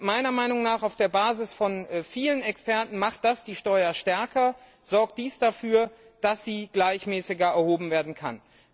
Meiner Meinung nach und nach Auffassung vieler Experten macht das die Steuer stärker, sorgt dies dafür, dass sie gleichmäßiger erhoben werden kann.